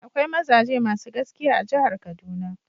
Akwai mazaje masu gaskiya a jihar kaduna.